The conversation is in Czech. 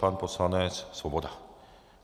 Pan poslanec Svoboda.